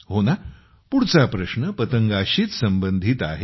हो ना पुढचा प्रश्न पतंगाशीच संबंधित आहे